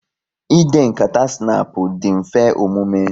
Ịde nkata snapu dị mfe omume